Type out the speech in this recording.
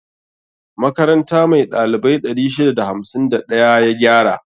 Makaranta mai ɗalibai 651 ya gyara.